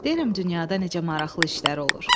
Deyirəm, dünyada necə maraqlı işlər olur.